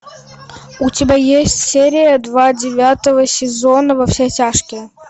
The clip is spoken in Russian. у тебя есть серия два девятого сезона во все тяжкие